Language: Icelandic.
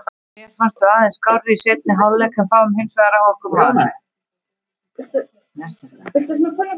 Mér fannst við aðeins skárri í seinni hálfleik en fáum hinsvegar á okkur mark.